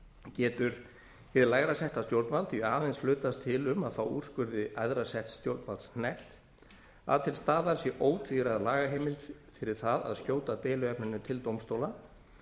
getur hið lægra setta stjórnvald því aðeins hlutast til um að fá úrskurði æðra setts stjórnvalds hnekkt að til staðar sé ótvíræð lagaheimild fyrir það að skjóta deiluefninu til dómstóla